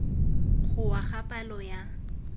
go wa ga palo ya